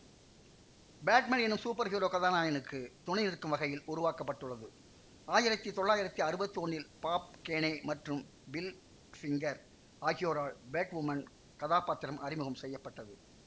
Batman எனும் superhero கதாநாயகனுக்கு துணைநிற்கும் வகையில் உருவாக்க பட்டுள்ளது ஆயிரத்தி தொள்ளாயிரத்தி அறுவத்தி ஒன்னில் பாப் கேனே மற்றும் பில் ஃபிங்கர் ஆகியோரால் பேட்வுமன் கதாப்பாத்திரம் அறிமுகம் செய்ய பட்டது